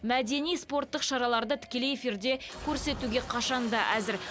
мәдени спорттық шараларды тікелей эфирде көрсетуге қашан да әзір